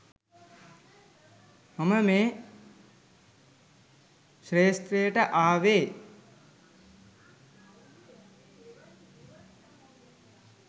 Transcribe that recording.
මම මේ ක්ෂේත්‍රයට ආවේ.